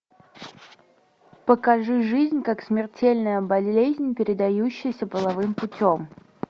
покажи жизнь как смертельная болезнь передающаяся половым путем